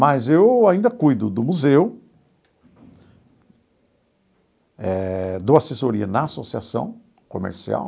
Mas eu ainda cuido do museu eh, dou assessoria na associação comercial,